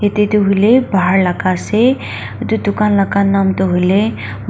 yate toh hoile bahar laga ase itu dukan laga nam toh hoile--